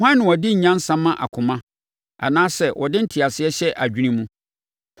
Hwan na ɔde nyansa ma akoma anaasɛ ɔde nteaseɛ hyɛ adwene mu.